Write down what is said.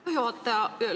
Aitäh, juhataja!